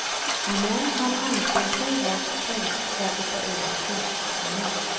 Men han anser sig ha skäl för att hoppa över snöskottningen.